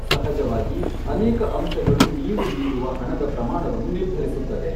ಸಹಜವಾಗಿ, ಅನೇಕ ಅಂಶಗಳು ನೀವು ನೀಡುವ ಹಣದ ಪ್ರಮಾಣವನ್ನು ನಿರ್ಧರಿಸುತ್ತದೆ.